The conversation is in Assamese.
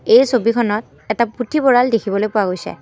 এই ছবিখনত এটা পুথভঁৰাল দেখিবলৈ পোৱা গৈছে।